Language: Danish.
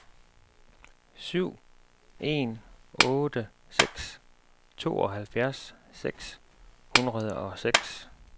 syv en otte seks tooghalvfjerds seks hundrede og seks